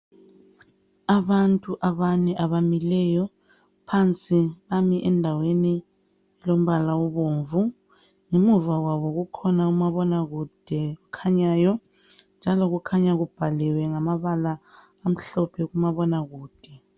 Abantu abane abamileyo elombala obomvu ngemuva kwabo kukhona umabona kude okhanyayo njalo kukhanya kubhaliwe ngamabala amhlophe kumabona kude